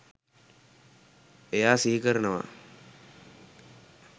එයා සිහිකරනවා